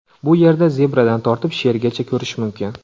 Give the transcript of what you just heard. Bu yerda zebradan tortib, shergacha ko‘rish mumkin.